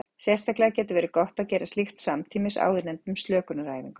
Sérstaklega getur verið gott að gera slíkt samtímis áðurnefndum slökunaræfingum.